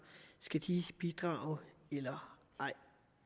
skal bidrage eller ej